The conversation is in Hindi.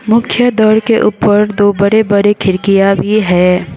मुख्य द्वार के ऊपर दो बड़े बड़े खिड़कियां भी है।